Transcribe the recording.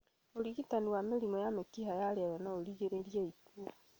ũrigitani wa mĩrimũ ya mĩkiha ya rĩera noũrigĩrĩrie ikuũ